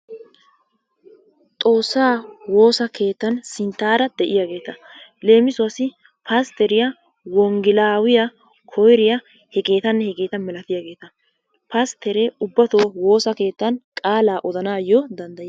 Xoossaa woosa keettan sinttara de"iyaageeta. Leemisuwaassi pastteriyaa, wongelaawiya, koyiriya, hegeetanne hegeeta milatiyaageeta. Pastteree ubbatoo woosa keettan qaalaa odanaayyo danddayiyaaga.